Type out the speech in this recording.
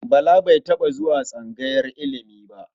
Bala ba taɓa zuwa tsangayar ilimi ba.